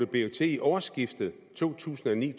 blev til i årsskiftet to tusind og ni